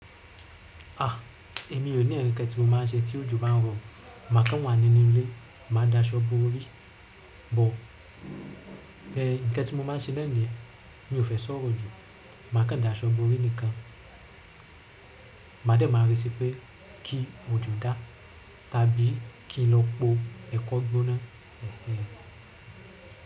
Èmi ò ní ǹkẹ́ tí mo máa ṣe tí òjo bá ń rọ. Máa kán wà nínú ilé, máa daṣọ bó ọ́rí. Ǹkan tí mo máa ń ṣe náà niyen, mi ó fẹ́ sọ̀rọ̀ jù, máa kán daṣọ bó ọ́rí nìkan. Ma dé máa retí pé kí ojo dá tàbí kí ń lọ pọ́ ẹ̀kọ́ gbóná.